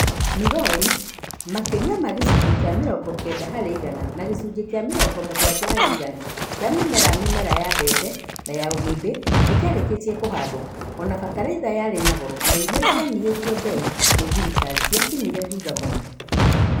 Migori, makĩria ma gĩcunjĩ kĩa mĩrongo kenda hari igana na gĩcunjĩ kĩa mĩrongo mũgwanja harĩ igana kia mĩmera mĩmera ya mbembe na ya ũgĩmbĩ nĩ kiarĩkĩtie kũhandwo, o na bataraitha yarĩ na goro na iria cianyihĩtio mbei nĩ thirikari ciakinyire thutha mũno